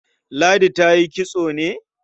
Ladi ta yi kitso ne?